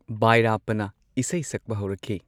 ꯕꯥꯏꯔꯞꯄꯅ ꯏꯁꯩ ꯁꯛꯄ ꯍꯧꯔꯛꯈꯤ꯫